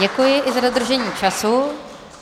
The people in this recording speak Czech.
Děkuji i za dodržení času.